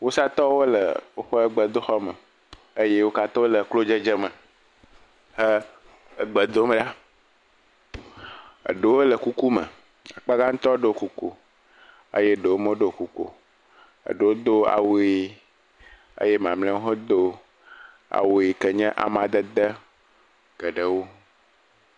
Wusatɔwo le woƒe gbedoxɔ me eye wo katã wole klo dzedze me he gbe dom ɖa, eɛewo le kuku me, akpa gãtɔ le kuku me eye eɖewo meɖɔ kuku o. Eɖewo do awu ʋe eye mamleawo hã do awu yi ke nye amadede geɖewo.